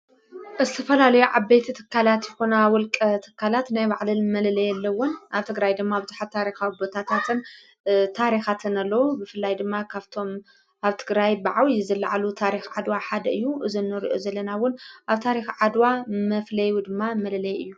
ዝተፈላልዮ ዓበይቲ ትካላት ይሆ ኩና ውልቂ ተካላት ናይ ባዕለን መለለየ ኣለውን ኣብቲ ግራይ ድማ ኣብዙኃት ታሪኻዊ ቦታታትን ታሪኻትን ኣሎዉ ብፍላይ ድማ ካብቶም ኣብቲ ትግራይ በዓውይ ዘለዓሉ ታሪኽ ዓድዋ ሓደ እዩ እዝኖርዑ ዘለናውን ኣብ ታሪኽ ዓድዋ መፍለዩ ድማ መለለይ እዩ።